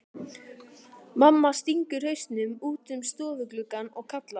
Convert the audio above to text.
Mamma stingur hausnum út um stofugluggann og kallar.